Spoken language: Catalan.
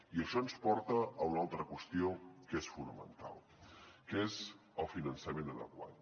i això ens porta a una altra qüestió que és fonamental que és el finançament adequat